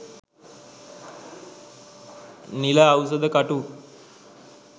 නිල අවුසද කටු